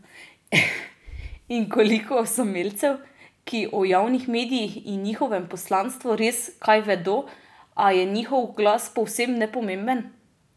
In koliko osamelcev, ki o javnih medijih in njihovem poslanstvu res kaj vedo, a je njihov glas povsem nepomemben?